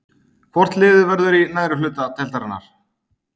Hvort liðið verður í neðri hluta deildarinnar?